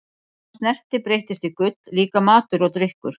Allt sem hann snerti breyttist í gull, líka matur og drykkur.